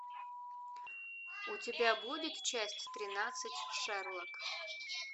у тебя будет часть тринадцать шерлок